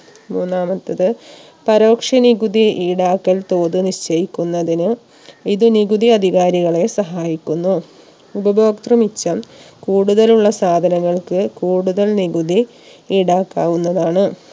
മൂന്നാമത്തത് പരോക്ഷി നികുതി ഈടാക്കൽ തോത് നിശ്ചയിക്കുന്നതിന് ഇത് നികുതി അധികാരികളെ സഹായിക്കുന്നു ഉപഭോക്തൃ മിച്ചം കൂടുതലുള്ള സാധനങ്ങൾക്ക് കൂടുതൽ നികുതി ഈടാക്കാവുന്നതാണ്